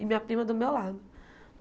E minha prima do meu lado.